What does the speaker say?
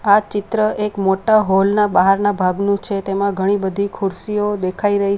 આ ચિત્ર એક મોટા હોલ ના બહારના ભાગનું છે તેમાં ઘણી બધી ખુરશીઓ દેખાઈ રહી --